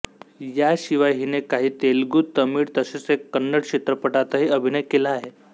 याशिवाय हीने काही तेलुगू तमिळ तसेच एक कन्नड चित्रपटांतही अभिनय केला आहे